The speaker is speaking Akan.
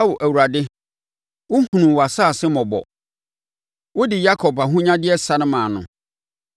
Ao Awurade wohunuu wʼasase mmɔbɔ; wode Yakob ahonyadeɛ sane maa no.